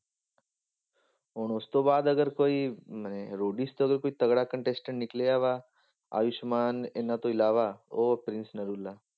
ਹੁਣ ਉਸ ਤੋਂ ਬਾਅਦ ਅਗਰ ਕੋਈ ਨੇ ਰੋਡੀਜ ਤੋਂ ਅਗਰ ਕੋਈ ਤਕੜਾ contestant ਨਿਕਲਿਆ ਵਾ, ਆਯੁਸਮਾਨ, ਇਹਨਾਂ ਤੋਂ ਇਲਾਵਾ ਉਹ ਪ੍ਰਿੰਸ ਨਰੂਲਾ।